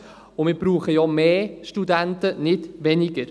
Und wir brauchen ja mehr Studenten, nicht weniger.